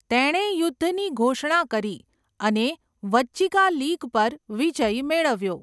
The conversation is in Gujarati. તેણે યુદ્ધની ઘોષણા કરી અને વજ્જિકા લીગ પર વિજય મેળવ્યો.